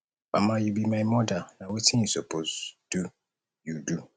mama you be my mother na wetin you suppose do you do